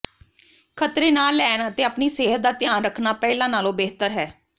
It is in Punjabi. ਖ਼ਤਰੇ ਨਾ ਲੈਣ ਅਤੇ ਆਪਣੀ ਸਿਹਤ ਦਾ ਧਿਆਨ ਰੱਖਣਾ ਪਹਿਲਾਂ ਨਾਲੋਂ ਬਿਹਤਰ ਹੈ